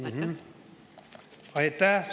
Aitäh!